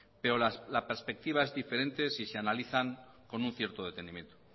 pero la perspectiva es diferente si se analizan con un cierto